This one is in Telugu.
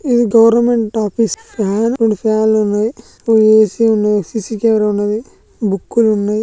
ఇది గవెర్నమెంట్ ఆఫీస్ రెండు ఫ్యాన్లు ఉన్నాయి. ఓ ఏ_సీ ఉన్నది. సీ_సీ కెమెరా ఉన్నది. బుక్ లున్నయి .